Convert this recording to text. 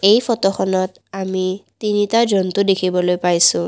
এই ফটোখনত আমি তিনিটা জন্তু দেখিবলৈ পাইছোঁ।